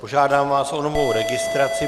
Požádám vás o novou registraci.